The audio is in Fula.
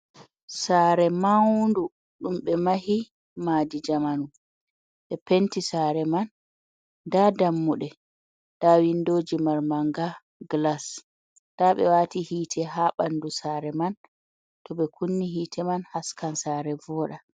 Sare maundu ,dum be mahi madijamanu be penti sare man ,da dammude da windoji marmanga glas ta be wati hite ha bandu sare man to be kunni hite man haskan sare voda.